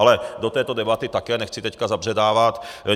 Ale do této debaty také nechci teď zabředávat.